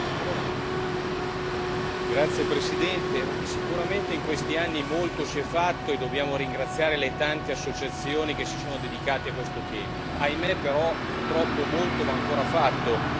Signor Presidente, onorevoli colleghi, sicuramente in questi anni molto si è fatto e dobbiamo ringraziare le tante associazioni che si sono dedicate a questo tema. Ahimè, però, purtroppo molto va ancora fatto.